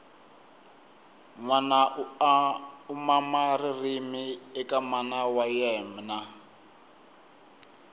nwana u mama ririmi eka mana wa yemna